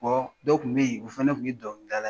dɔw tun be yen o fana tun ye dɔnkili dalan ye.